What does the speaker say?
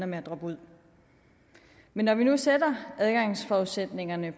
med at droppe ud men når vi nu sætter adgangsforudsætningerne